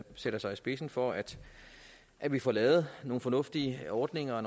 sætter sig i spidsen for at at vi får lavet nogle fornuftige ordninger